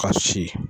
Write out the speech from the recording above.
Ka si